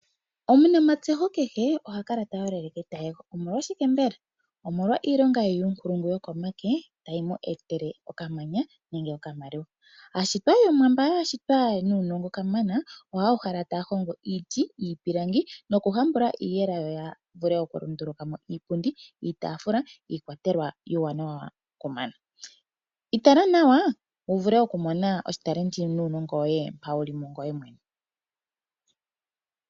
Omunamatseho kehe oha kala ta yolele keta yego, omolwashike mbela? Omolwa iilonga ye yuumpulungu yokomake tayi mu etele okamanya nenge okamaliwa . Aashitwa yOmuwa mba ya shitwa, yena uunongo kamana, ohaya uhala taya hongo iiti, iipilangi noku hambula iiyela yo ya vule okulundulu ka mo iipundi, iitaafula, iikwatelwa iiwanawa ku mana . Itala nawa wu vule oku mona oshitalenti nuunongo woye mpa wuli mungoye mwene .